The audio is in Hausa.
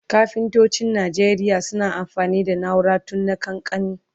kafintocin Nigeria suna amfani da naura tun na kakanni